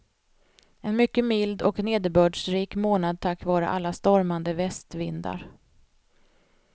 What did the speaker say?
En mycket mild och nederbördsrik månad tack vare alla stormande västvindar.